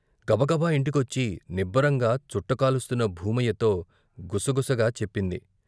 గబగబా ఇంటికొచ్చి నిబ్బరంగా చుట్ట కాలుస్తున్న భూమయ్యతో గుసగుసగా చెప్పింది.